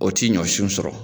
O ti ɲɔnsiw sɔrɔ.